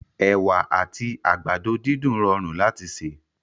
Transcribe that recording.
Ewa àti àgbàdo dídùn rọrùn láti sè